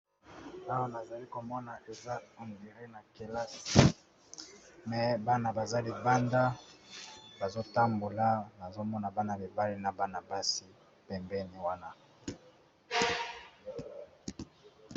tawo nazali komona eza hondiri na kelas me bana baza libanda bazotambola nazomona bana bibale na bana basi pembeni wana